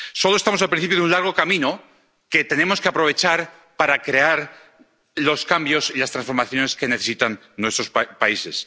Solo estamos al principio de un largo camino que tenemos que aprovechar para crear los cambios y las transformaciones que necesitan nuestros países.